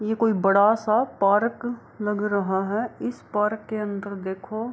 ये कोई बड़ा-सा पार्क लग रहा है इस पार्क के अन्दर देखो --